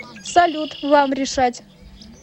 салют вам решать